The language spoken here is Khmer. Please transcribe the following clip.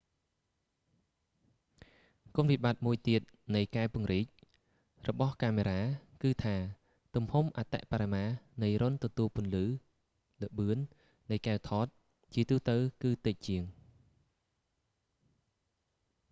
គុណវិបត្តិមួយទៀតនៃកែវពង្រីក zoom lenses របស់កាមេរ៉ា គឺថា ទំហំអតិបរមានៃរុន្ធទទួលពន្លឺ ល្បឿន នៃកែវថត ជាទូទៅគឺតិចជាង